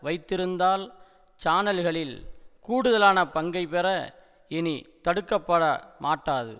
வைத்திருந்தால் சானல்களில் கூடுதலான பங்கைப்பெற இனி தடுக்க பட மாட்டாது